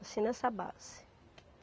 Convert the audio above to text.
Assim nessa base.